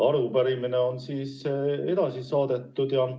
Arupärimine on edasi saadetud.